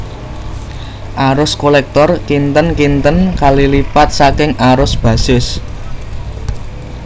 Arus kolektor kinten kinten kali lipat saking arus basis